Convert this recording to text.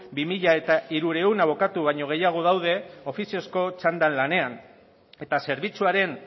bi mila hirurehun abokatu baino gehiago daude ofiziozko txandan lanean eta zerbitzuaren